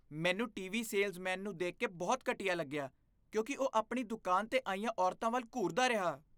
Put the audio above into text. ਮੈਨੂੰ TV. Salesman ਨੂੰ ਦੇਖ ਕੇ ਬਹੁਤ ਘਟੀਆ ਲੱਗਿਆ ਕਿਉਂਕਿ ਉਹ ਆਪਣੀ ਦੁਕਾਨ 'ਤੇ ਆਈਆਂ ਔਰਤਾਂ ਵੱਲ ਘੂਰਦਾ ਰਿਹਾ।